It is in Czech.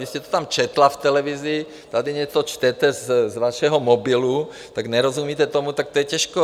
Vy jste to tam četla v televizi, tady něco čtete z vašeho mobilu, tak nerozumíte tomu, tak to je těžké.